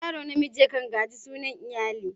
Yaro namiji ya kan gaji sunan iyali.